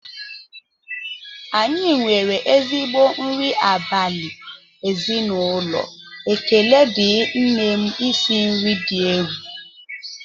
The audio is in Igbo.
Anyị nwere ezigbo nri abalị ezinụlọ, ekele ndị nne m isi nri dị egwu